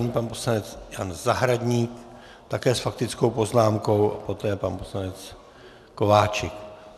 Nyní pan poslanec Jan Zahradník, také s faktickou poznámkou, a poté pan poslanec Kováčik.